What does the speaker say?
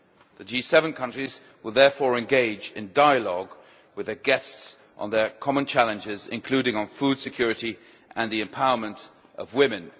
The G7 countries will therefore engage in dialogue with their guests on their common challenges, including on food security and the empowerment of women.